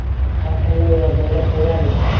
Har qanday yordamga tayyorman.